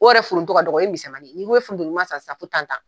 O yɛrɛ f foronto ka dɔgɔ, o ye misɛnmanin ye, n'i ko i bɛ foronto ɲuman san sisan